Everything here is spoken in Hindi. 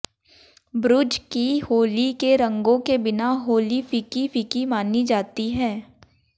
बृज की होली के रंगों के बिना होली फीकी फीकी मानी जाती है